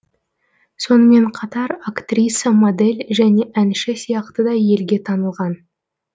сонымен қатар актриса модель және әнші сияқты да елге танылған